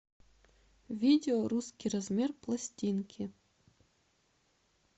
видео русский размер пластинки